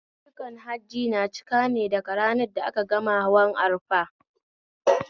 Ayyukan Hajji na cika ne daga ranar da a ka gama hawan arfat